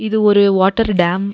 இது ஒரு water dam .